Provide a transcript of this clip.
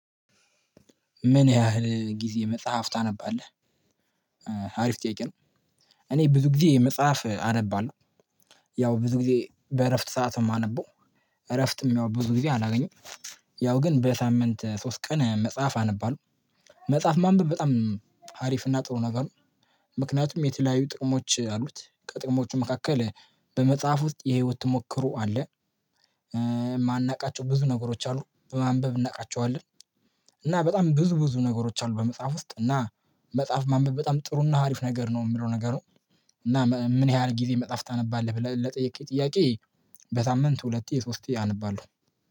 ምን ያህል ጊዜ መጽሐፍ ታነባለህ? አሪፍ ጥያቄ ነው እኔ ብዙ ጊዜ መጽሐፍ አነባለሁ፤ ያው ብዙ ጊዜ በእረፍት ሰዓት ነው የማነበው፤ እረፍትም ያው ብዙ ጊዜ አላገኘም። ያው ግን በሳምንት ሶስት ቀን መጽሐፍ አነባለሁ። መጽሐፍ ማንበብ በጣም ሀሪፍና ጥሩ ነገር ነው። ምክንያቱም የተለያዩ ጥቅሞች አሉት ከጥቅሞቹ መካከል በመጽሐፍ ውስጥ የህይወት ትሞክሮ አለ፤ የማናውቃቸው ብዙ ነገሮች አሉ በማንበብ እናውቃቸዋለን። እና በጣም ብዙ ብዙ ነገሮች አሉ በመጽሐፍ ውስጥ እና መጽሐፍ ማንበብ በጣም ጥሩና አሪፍ ነገር ነው የሚለው ነገሩን እና ምን ያህል ጊዜ መጽሐፍ ታነባለህ ብለህ ለጥያቄ ጥያቄ በሳምንት ሁለት የሶስት የህል አነባለሁ።